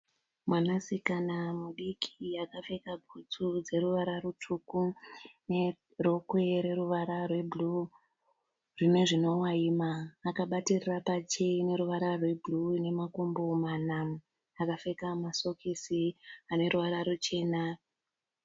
Mwanasikana mudiki akapfeka butsu dzeruvara rutsvuku nerokwe roruvara rwebhuruu rine zvinovaima. Akabatirira pacheya ine ruvara rwebhuruu ine makumbo mana. Akapfeka masokisi ane ruvara ruchena.